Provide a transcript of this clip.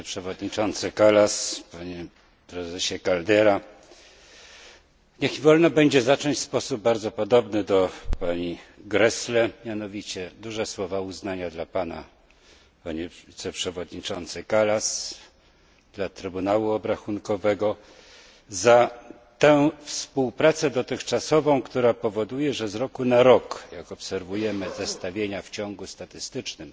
Niech mi wolno będzie zacząć w sposób bardzo podobny do pani Gräßle mianowicie duże słowa uznania dla pana, panie wiceprzewodniczący Kallas, dla Trybunału Obrachunkowego za tę współpracę dotychczasową, która powoduje, że z roku na rok, jak obserwujemy zestawienia w ciągu statystycznym,